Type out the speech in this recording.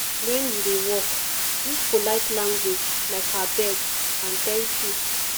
when you dey work use polite language like abeg and thank you